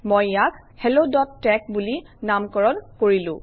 মই ইয়াক helloতেশ বুলি নামকৰণ কৰিলো